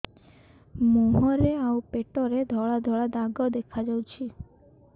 ମୁହଁରେ ଆଉ ପେଟରେ ଧଳା ଧଳା ଦାଗ ଦେଖାଯାଉଛି